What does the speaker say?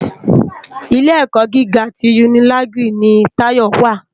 Ilé èkò gigá ti unilági ni Tayo wá